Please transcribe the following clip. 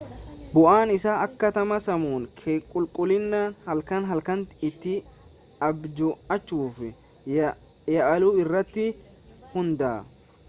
bu'aan isaa akkaataa sammuun kee qulqullinaan halkan halkan itti abju'achuuf yaalu irratti hundaa'a